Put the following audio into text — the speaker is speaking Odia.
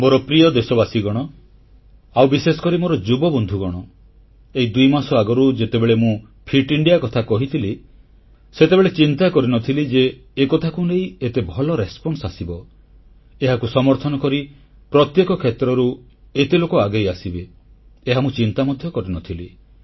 ମୋର ପ୍ରିୟ ଦେଶବାସୀଗଣ ଆଉ ବିଶେଷକରି ମୋର ଯୁବବନ୍ଧୁଗଣ ଏଇ ଦୁଇମାସ ଆଗରୁ ଯେତେବେଳେ ମୁଁ ଫିଟ ଇଣ୍ଡିଆ କଥା କହିଥିଲି ସେତେବେଳେ ଚିନ୍ତା କରିନଥିଲି ଯେ ଏକଥାକୁ ନେଇ ଏତେ ଭଲ ଉତ୍ତର ବା ରିସ୍ପନ୍ସ ମିଳିବ ଏହାକୁ ସମର୍ଥନ କରି ପ୍ରତ୍ୟେକ କ୍ଷେତ୍ରରୁ ଏତେ ଲୋକ ଆଗେଇ ଆସିବେ ଏହା ମୁଁ ଚିନ୍ତା ମଧ୍ୟ କରିନଥିଲି